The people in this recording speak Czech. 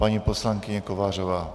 Paní poslankyně Kovářová.